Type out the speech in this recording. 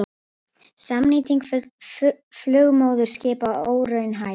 Samnýting flugmóðurskipa óraunhæf